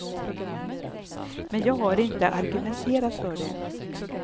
Men jag har inte argumenterat för det.